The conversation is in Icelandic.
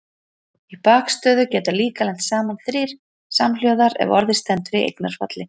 Í bakstöðu geta líka lent saman þrír samhljóðar ef orðið stendur í eignarfalli.